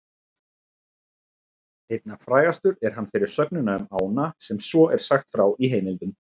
Einna frægastur er hann fyrir sögnina um ána sem svo er sagt frá í heimildum: